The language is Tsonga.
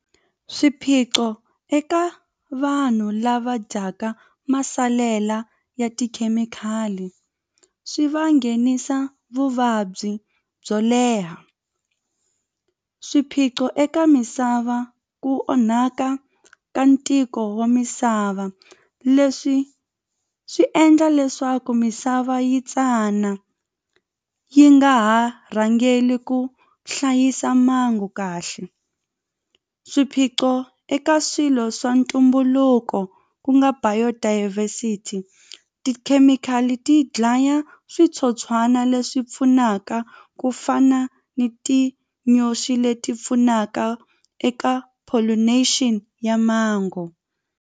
Swiphiqo eka vanhu lava dyaka masalela ya tikhemikhali swi va nghenisa vuvabyi byo leha swiphiqo eka misava ku onhaka ka ntiko wa misava leswi swi endla leswaku misava yi tsana yi nga ha rhangeli ku hlayisa kahle swiphiqo eka swilo swa ntumbuluko ku nga biodiversity tikhemikhali ti dlaya switsotswana leswi pfunaka ku fana ni tinyoxi leti pfunaka eka pollination ya mango.